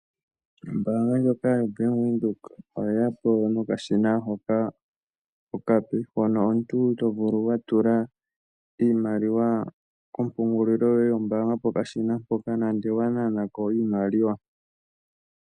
Ombaanga ndjoka yoBank Windhoek oyeya po nakashina hoka okape hono omuntu tovulu watula iimaliwa komupungulilo yoye yombaanga pokashina mpoka nande owananako iimaliwa.